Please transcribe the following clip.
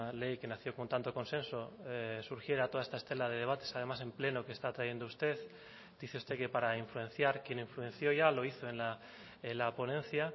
ley que nació con tanto consenso surgiera toda esta estela de debates además en pleno que está trayendo usted dice usted que para influenciar quién influenció ya lo hizo en la ponencia